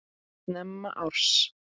Snemma árs